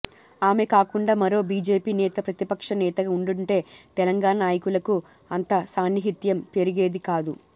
ఆమె కాకుండా మరో బీజేపీ నేత ప్రతిపక్ష నేతగా ఉండుంటే తెలంగాణ నాయకులకు అంత సాన్నిహిత్యం పెరిగేది కాదు